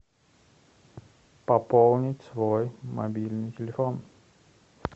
пополнить свой мобильный телефон